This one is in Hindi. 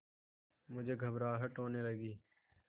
मुझे घबराहट होने लगी